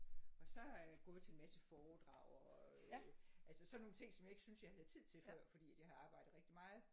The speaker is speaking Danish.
Og så har jeg gået til en masse foredrag og øh altså sådan nogle ting som jeg ikke følte jeg havde tid til før fordi jeg arbejde rigtig meget